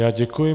Já děkuji.